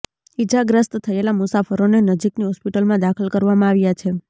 ઈજાગ્રસ્ત થયેલા મુસાફરોને નજીકની હોસ્પિટલમાં દાખલ કરવામાં આવ્યા છે